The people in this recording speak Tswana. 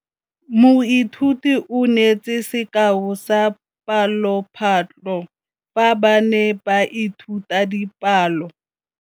Moithuti o neetse sekaô sa palophatlo fa ba ne ba ithuta dipalo.